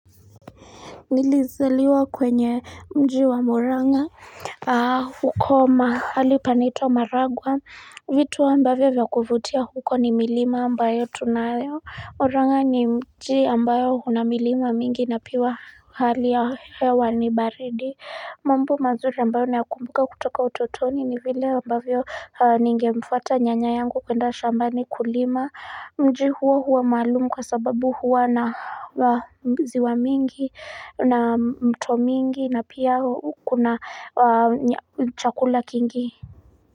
Nilizaliwa kwenye mji wa murang'a huko mahali panaitwa maragua vitu ambavyo vya kuvutia huko ni milima ambayo tunayo Orang'a ni mji ambao huna milima mingi na piwa hali ya hewa ni baridi mambo mazuri ambayo nakumbuka kutoka utotoni ni vile ambavyo ningemfuata nyanya yangu kwenda shambani kulima Mji huo huwa maalumu kwa sababu huwa na wazi wa mingi na mto mingi na pia kuna chakula kingi.